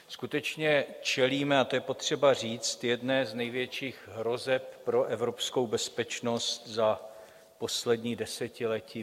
Skutečně čelíme, a to je potřeba říct, jedné z největších hrozeb pro evropskou bezpečnost za poslední desetiletí.